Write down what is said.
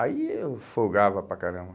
Aí eu folgava para caramba.